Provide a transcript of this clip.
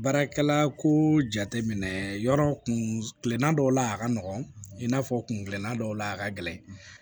Baarakɛla ko jate minɛ yɔrɔ kun kilenna dɔw la a ka nɔgɔn i n'a fɔ kungɛlana dɔw la a ka gɛlɛn